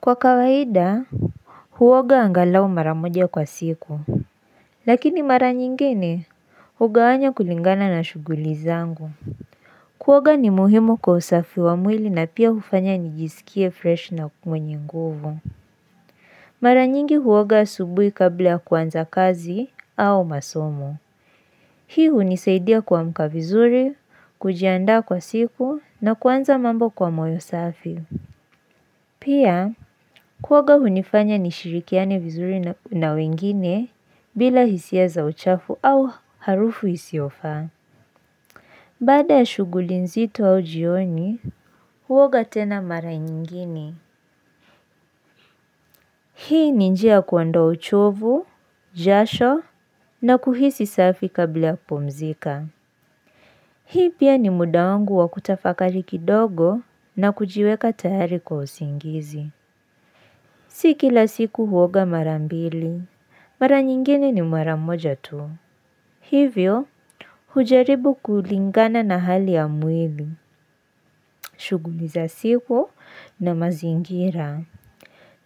Kwa kawaida, huoga angalau mara moja kwa siku. Lakini mara nyingine, huoga hugawanya kulingana na shughuli zangu. Kuoga ni muhimu kwa usafi wa mwili na pia hufanya nijisikie fresh na mwenye nguvu. Mara nyingi huoga asubuhi kabla ya kuanza kazi au masomo. Hii hunisaidia kuamka vizuri, kujiandaa kwa siku na kuanza mambo kwa moyo safi. Pia, kuoga hunifanya nishirikiane vizuri na wengine bila hisia za uchafu au harufu isiyo faa. Baada ya shughuli nzito au jioni, huoga tena mara nyingine. Hii ni njia ya kuondaa uchovu, jasho na kuhisi safi kabla ya kupumzika. Hii pia ni muda wangu wa kutafakali kidogo na kujiweka tayari kwa usingizi. Si kila siku huoga mara mbili. Mara nyingine ni mara moja tu. Hivyo, hujaribu kulingana na hali ya mwili, shughuli za siku na mazingira.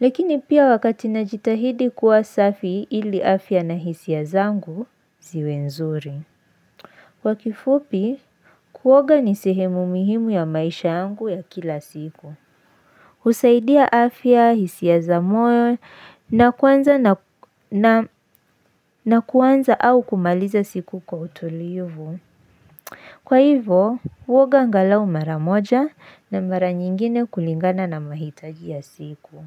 Lakini pia wakati najitahidi kuwa safi ili afya na hisia zangu, ziwe nzuri. Kwa kifupi, kuoga ni sehemu muhimu ya maisha yangu ya kila siku. Husaidia afya, hisia za moyo na kuanza na kuanza au kumaliza siku kwa utulivu. Kwa hivo, huoga angalau mara moja na mara nyingine kulingana na mahitaji ya siku.